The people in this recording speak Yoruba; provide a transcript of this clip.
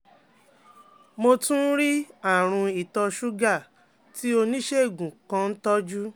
Mo tún ní àrùn ìtọṣúgà tí oníṣègùn kan ń tọ́jú